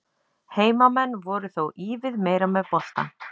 Heimamenn voru þó ívið meira með boltann.